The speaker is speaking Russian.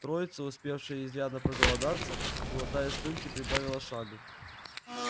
троица успевшая изрядно проголодаться глотая слюнки прибавила шагу